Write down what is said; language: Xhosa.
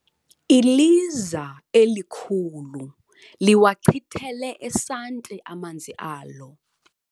Iliza elikhulu liwachitele esanti amanzi alo.